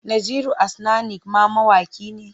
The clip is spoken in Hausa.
Naziru Asnanik ma mawaƙi ne?